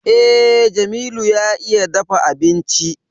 Eh, Jamilu ya iya dafa abinci